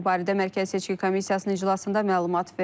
Bu barədə Mərkəzi Seçki Komissiyasının iclasında məlumat verilib.